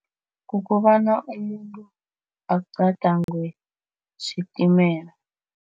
Kukobana umuntu agadangwe sitimela.